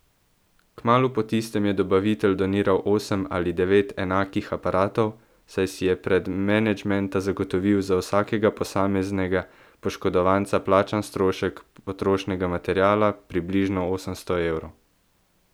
Kmalu po tistem je dobavitelj doniral osem ali devet enakih aparatov, saj si je prek menedžmenta zagotovil za vsakega posameznega poškodovanca plačan strošek potrošnega materiala, približno osemsto evrov.